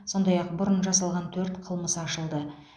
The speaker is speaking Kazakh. сондай ақ бұрын жасалған төрт қылмыс ашылды